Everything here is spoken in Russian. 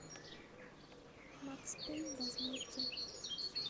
макс пэйн возмездие